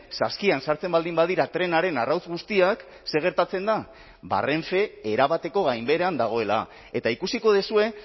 saskian sartzen baldin badira trenaren arrautz guztiak zer gertatzen da ba renfe erabateko gainbeheran dagoela eta ikusiko duzue